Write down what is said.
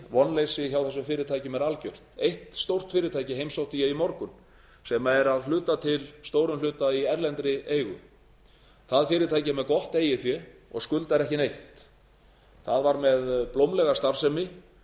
vonleysi hjá þessum fyrirtækjum er algert eitt stórt fyrirtæki heimsótti ég í morgun sem er að stórum hluta til í erlendri eigu það fyrirtæki er með gott eigið fé og skuldar ekki neitt það var með blómlega starfsemi